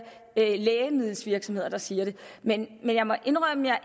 lægemiddelvirksomheder der siger det men jeg må indrømme at